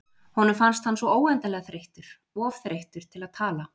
Honum fannst hann svo óendanlega þreyttur, of þreyttur til að tala.